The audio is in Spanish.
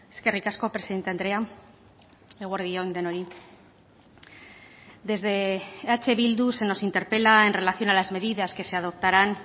eskerrik asko presidente andrea eguerdi on denoi desde eh bildu se nos interpela en relación a las medidas que se adoptarán